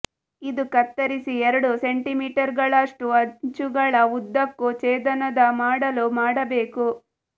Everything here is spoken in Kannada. ಇದು ಕತ್ತರಿಸಿ ಎರಡು ಸೆಂಟಿಮೀಟರ್ಗಳಷ್ಟು ಅಂಚುಗಳ ಉದ್ದಕ್ಕೂ ಛೇದನದ ಮಾಡಲು ಮಾಡಬೇಕು